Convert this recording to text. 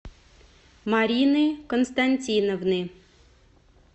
марины константиновны